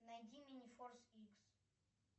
найди минифорс икс